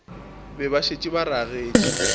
be ba šetše ba ragetše